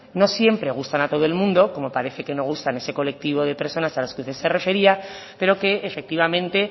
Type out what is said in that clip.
no siempre gustan a todo el mundo como parece que no gustan a ese colectivo de personas a las que se refería pero que efectivamente